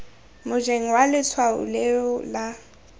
mojeng wa letshwao leo la